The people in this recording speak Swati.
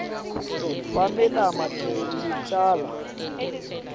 kwale lama licala